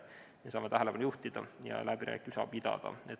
Me saame nendele asjadele tähelepanu juhtida ja läbirääkimisi pidada.